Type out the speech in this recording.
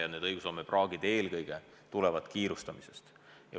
Ja see õigusloome praak eelkõige tuleb kiirustamisest.